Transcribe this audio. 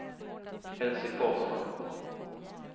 Elsy Forsman